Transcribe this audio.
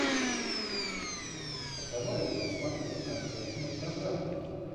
давай я посмотрю концертную программу